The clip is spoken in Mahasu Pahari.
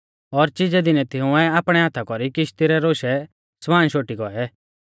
और चिजै दिनै तिंउऐ आपणै हाथा कौरी किश्ती रै रौशै समान शोटी गौऐ